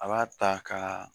A b'a ta ka